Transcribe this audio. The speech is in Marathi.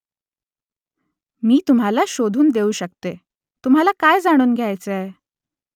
मी तुम्हाला शोधून देऊ शकते . तुम्हाला काय जाणून घ्यायचंय ?